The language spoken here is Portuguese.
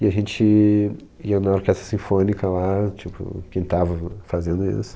E a gente ia na orquestra sinfônica lá, tipo, pintava fazendo isso.